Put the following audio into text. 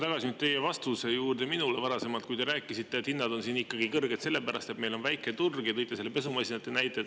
Tulen tagasi teie vastuse juurde minule varasemalt, kui te rääkisite, et hinnad on siin ikkagi kõrged selle pärast, et meil on väike turg, ja tõite selle pesumasinate näite.